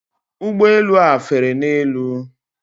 Ụgbọ elu a fere n'elu.